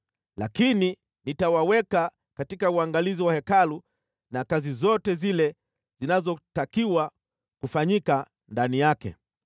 Lakini nitawaweka katika uangalizi wa Hekalu na kazi zote zile zinazotakiwa kufanyika ndani yake.